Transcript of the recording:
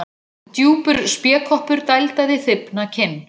Djúpur spékoppur dældaði þybbna kinn.